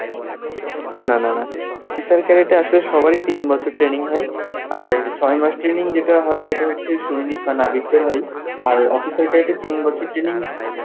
না না, না না, officer cadet এ আসলে সবারই তিন বছর training হয়, আর ছয় মাস training যেটা হয় সেটা সৈনিক বা নাবিকদের হয় আর officer cadet এ তিন বছর training